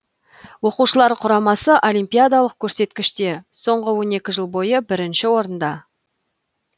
оқушылар құрамасы олимпиадалық көрсеткіште соңғы он екі жыл бойы бірінші орында